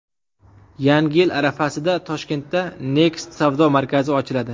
Yangi yil arafasida Toshkentda Next savdo markazi ochiladi.